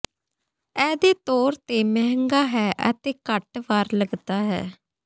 ਇਹ ਦੇ ਤੌਰ ਤੇ ਮਹਿੰਗਾ ਹੈ ਅਤੇ ਘੱਟ ਵਾਰ ਲੱਗਦਾ ਹੈ